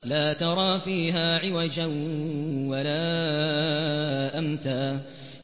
لَّا تَرَىٰ فِيهَا عِوَجًا وَلَا أَمْتًا